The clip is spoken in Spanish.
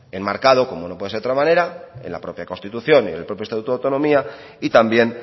enmarcado como no puede ser de otra manera en la propia constitución y en el propio estatuto de autonomía y también